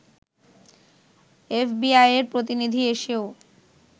এফবিআইয়ের প্রতিনিধি এসেও